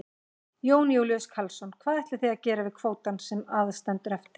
Jón Júlíus Karlsson: Hvað ætlið þið að gera við kvótann sem að stendur eftir?